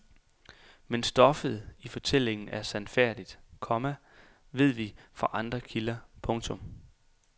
Men stoffet i fortællingen er sandfærdigt, komma ved vi fra andre kilder. punktum